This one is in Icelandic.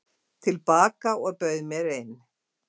til baka og bauð mér inn.